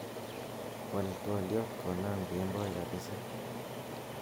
wal twolyot konam kemboi kabiza